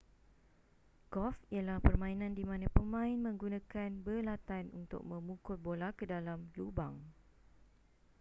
golf ialah permainan di mana pemain menggunakan belatan untuk memukul bola ke dalam lubang